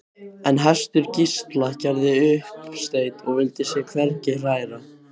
En hestur Gísla gerði uppsteyt og vildi sig hvergi hræra.